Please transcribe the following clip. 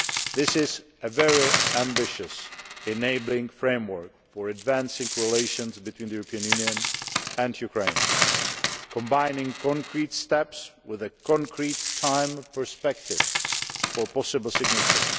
This is a very ambitious, enabling framework for advancing relations between the European Union and Ukraine, combining concrete steps with a concrete time perspective for possible signature.